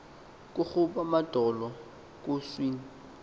kugob amadolo kuncwin